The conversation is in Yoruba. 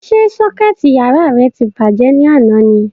Ṣé sọ́kẹ̀tì yàrá rẹ ti bàjẹ́ ni àná ni?